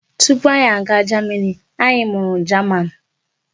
Tupu anyị aga jamini, anyị mụrụ jaman.